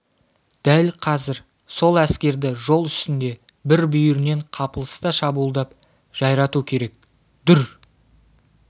дәл қазір сол әскерді жол үстінде бір бүйірінен қапылыста шабуылдап жайрату керек-дүр